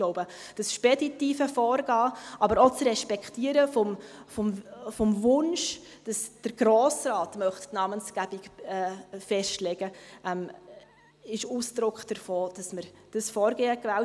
Ich glaube, das speditive Vorgehen, aber auch das Respektieren des Wunsches, wonach der Grosse Rat die Namensgebung festlegen möchte, ist Ausdruck davon, dass wir dieses Vorgehen gewählt haben.